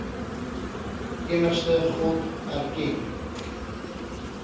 enigste god erken